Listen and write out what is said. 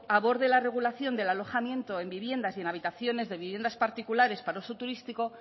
aborde la regulación del alojamiento en viviendas y en habitaciones de viviendas particulares para uso turístico